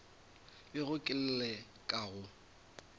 bego ke le ka go